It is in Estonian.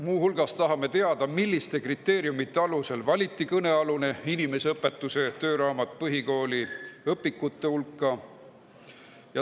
Muu hulgas tahame teada, milliste kriteeriumide alusel valiti kõnealune inimeseõpetuse tööraamat põhikooliõpikute hulka.